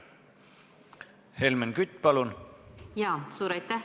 Helmen Kütt, palun!